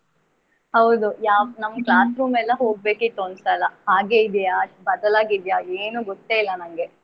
ಹೌದು ಹೌದು ನಮ್ಮ classroom ಎಲ್ಲಾ ಹೋಗ್ಬೇಕಿತ್ತು ಒನ್ಸಲ. ಹಾಗೆ ಇದೆಯಾ ಬದಲಾಗಿದೆಯಾ ಏನು ಗೊತ್ತೇ ಇಲ್ಲ.